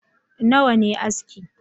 Nawa ne aski